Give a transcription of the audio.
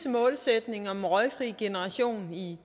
målsætning om en røgfri generation i